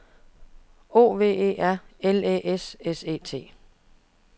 O V E R L Æ S S E T